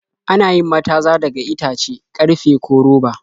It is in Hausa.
Ana yin mataza daga itace, karfe, ko roba.